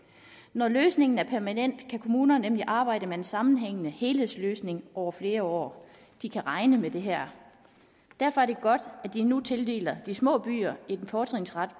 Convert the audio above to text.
når løsningen er permanent kan kommunerne nemlig arbejde med en sammenhængende helhedsløsning over flere år de kan regne med det her derfor er det godt at vi nu tildeler de små byer en fortrinsret